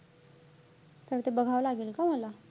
तर ते बघावं लागेल का मला?